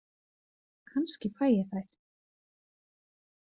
Kannski fæ ég þær.